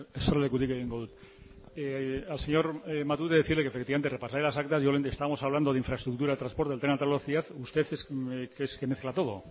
eserlekutik egingo dut al señor matute decirle que efectivamente repasaré las actas estamos hablando de infraestructura de transporte de tren de alta velocidad usted es que mezcla todo